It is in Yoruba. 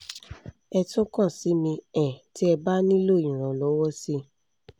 ẹ tún kàn sí mi um tí ẹ bá nílò ìrànlọ́wọ́ síi